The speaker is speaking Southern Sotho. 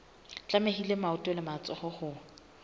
tlamehile maoto le matsoho ho